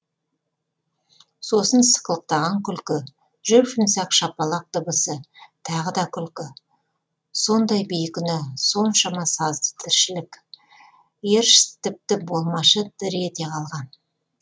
сосын сықылықтаған күлкі жұп жұмсақ шапалақ дыбысы тағы да күлкі сондай бейкүнә соншама сазды тіршілік эршст тіпті болмашы дір ете қалған